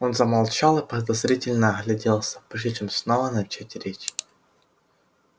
он замолчал и подозрительно огляделся прежде чем снова начать речь